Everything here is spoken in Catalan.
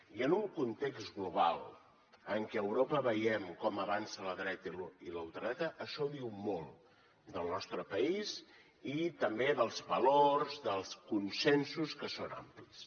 i en un context global en què a europa veiem com avança la dreta i la ultradreta això diu molt del nostre país i també dels valors dels consensos que són amplis